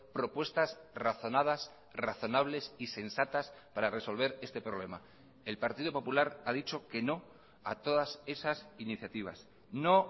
propuestas razonadas razonables y sensatas para resolver este problema el partido popular ha dicho que no a todas esas iniciativas no